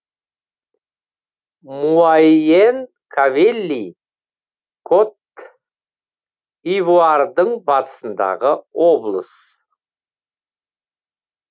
муайен кавелли кот ивуардыӊ батысындағы облыс